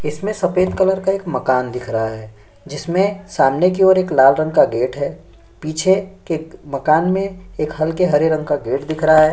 इसमें सफ़ेद कलर का एक मकान दिख रहा है जिसमें सामने की ओर एक लाल रंग का गेट है पीछे एक मकान में एक हल्के हरे रंग का एक गेट दिख रहा है।